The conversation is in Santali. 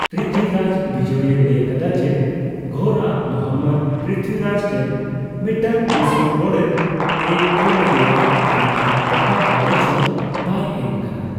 ᱯᱨᱤᱛᱷᱤᱨᱟᱡ ᱵᱤᱡᱚᱭᱮ ᱞᱟᱹᱭ ᱟᱠᱟᱫᱟ ᱡᱮ, ᱜᱷᱳᱨᱼᱟᱜ ᱢᱩᱦᱚᱢᱢᱚᱫ ᱯᱨᱤᱛᱷᱤᱨᱟᱡ ᱴᱷᱮᱱ ᱢᱤᱫᱴᱟᱝ ᱫᱤᱥᱚᱢ ᱜᱳᱰᱮᱛᱮ ᱠᱳᱞ ᱞᱮᱫᱮᱭᱟ, ᱢᱮᱱᱠᱷᱟᱱ ᱚᱠᱟ ᱜᱟᱞᱚᱪ ᱦᱚᱸ ᱵᱟᱭ ᱮᱢ ᱟᱠᱟᱱᱟ ᱾